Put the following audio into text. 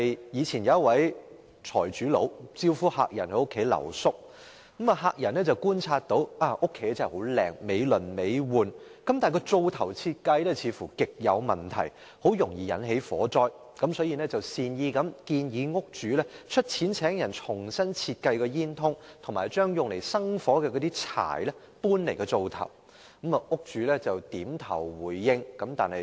以前有一名財主招呼客人在家裏留宿，客人觀察到這個家真的很漂亮，美輪美奐，但灶頭的設計似乎極有問題，很容易引起火災，所以便善意地建議屋主出錢請人重新設計煙囱和將用以生火的柴搬離灶頭。